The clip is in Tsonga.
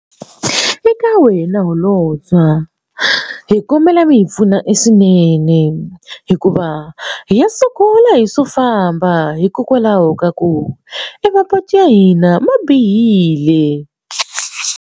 Eka wena holobye wa hi kombela mi hi pfuna swinene hikuva hi ya sungula hi swo famba hikokwalaho ka ku mapatu ya hina ma bihile.